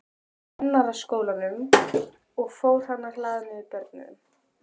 Kennaraskólanum, og fór að hlaða niður börnum.